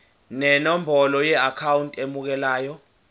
nenombolo yeakhawunti emukelayo